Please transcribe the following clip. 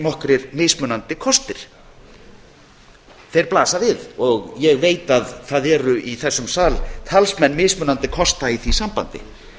nokkrir mismunandi kostir ég veit að það eru í þessum sal talsmenn mismunandi kosta í því sambandi